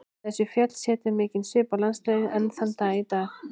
Þessi fjöll setja mikinn svip á landslagið enn þann dag í dag.